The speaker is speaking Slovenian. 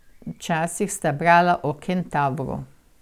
Včasih sta brala o Kentavru.